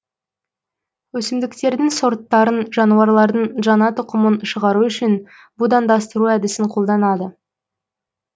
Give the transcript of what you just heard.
өсімдіктердің сорттарын жануарлардың жаңа тұқымын шығару үшін будандастыру әдісін қолданады